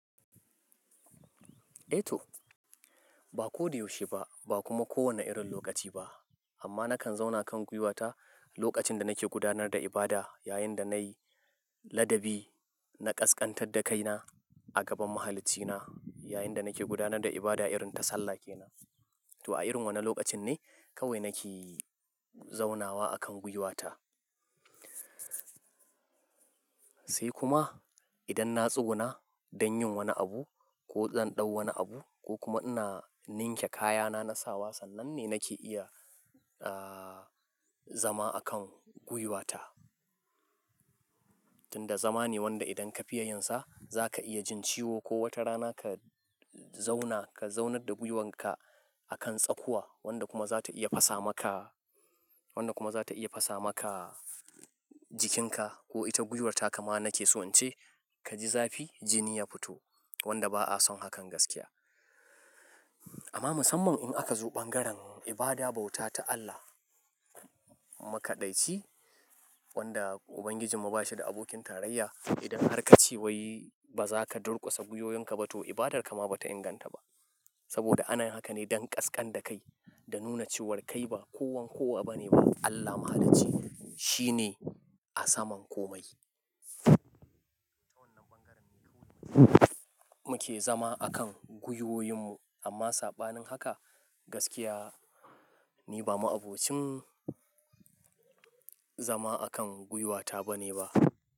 Eh to, ba ko da yaushe ba, ba kuma kowane irin lokaci ba. Amma nakan zauna kan gwiwata lokacin da nake gudanar da ibada, yayin da nayi ladabi na ƙasƙantar da kaina a gaban Mahaliccina, yayin da nake gudanar da ibada irin tasallake na. To a irin wane lokacin ne kawai nake zauna wa akan gwuiwata. Sai kuma idan na tsutso na don yin wani abu ko zan ɗau wani abu ko kuma ina ninke kayana na sawa, sannan ne nake iya, zama akan gwuiwata. Tunda zama ne wanda idan ka fiya yinsa zaka iya jin ciwo ko wata rana ka zauna ka zaunar da gwuiwanka akan tsakuwa wanda kuma za ta iya fasa maka, wanda kuma za ta iya fasa maka jikinka ko ita gwuiwarta ma nake so in ce kaji zafi jini ya fito wanda ba a son hakan gaskiya. Amma musamman in aka zo bangaren ibada bauta ta Allah makaɗaici wanda Ubangijinmu ba shi da abokin tarayya. Idan har ka ce wai ba za ka durkusa gwuiwoyinka ba to ibadarka ma ba ta inganta ba. Saboda anayi hakan ne don ƙasƙanta kai da nuna cewar kai ba kowann kuwa bane ba. Allah Mahalicci shi ne a saman komai. Ta wannan bangaren ne kawai muke zama akan gwuiwoyin mu. Amma saɓanin haka gaskiya ne ba ma aboccin zama akan gwuiwata bane ba.